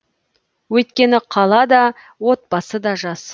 өйткені қала да отбасы да жас